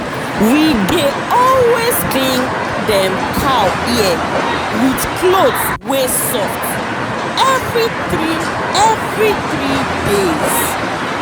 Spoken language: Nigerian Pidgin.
we dey always clean dem cow ear with cloth wey soft every three every three days.